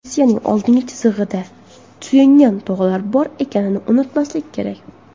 Rossiyaning oldingi chizig‘ida suyangan tog‘lari bor ekanini unutmaslik kerak.